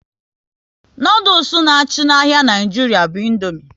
Noodules na achị n'ahia Nigeria bu Indomie